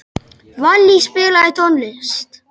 Vallý, spilaðu tónlist.